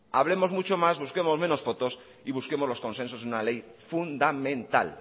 hablemos mucho más busquemos menos fotos y busquemos los consensos en una ley fundamental